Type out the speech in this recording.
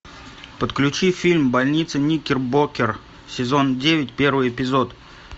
подключи фильм больница никербокер сезон девять первый эпизод